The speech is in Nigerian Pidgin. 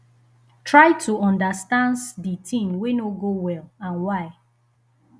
try to understans di thing wey no go well and why